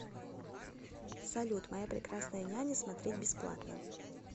салют моя прекрасная няня смотреть бесплатно